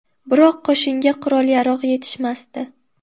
Biroq qo‘shinga qurol-yarog‘ yetishmasdi.